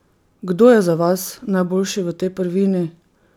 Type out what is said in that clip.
Kdo je za vas najboljši v tej prvini?